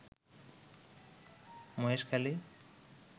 Maheshkhali